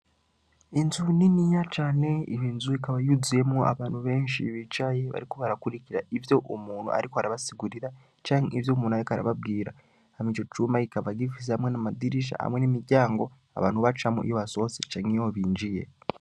Inzu niniya cane inzu ikaba yuzuyemwo abantu benshi bicaye bariko barakurikira ivyo umuntu ariko arabasigurira canke ivyo umuntu ariko arababwira ico cumba kikaba gifise amwe n'amadirisha amwe n'imiryango abantu bacamwo iyo basohotse canke binziye